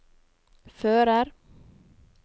fører